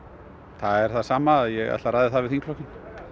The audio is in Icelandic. það er það sama ég ætla að ræða það við þingflokkinn